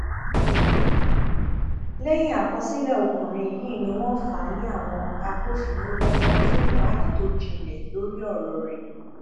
lẹyìn àkọsílẹ ọkùnrin yìí ni wọn fà á lé àwọn agbófinró lọwọ fún ìwádìí tó jinlẹ lórí ọrọ rẹ